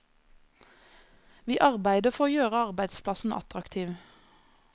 Vi arbeider for å gjøre arbeidsplassen attraktiv.